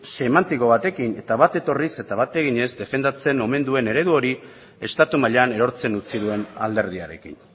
semantiko batekin eta bat etorriz eta bat eginez defendatzen omen duen eredu hori estatu mailan erortzen utzi duen alderdiarekin